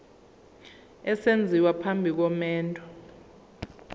esenziwa phambi komendo